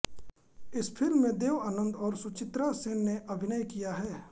इस फ़िल्म में देव आनन्द और सुचित्रा सेन ने अभिनय किया है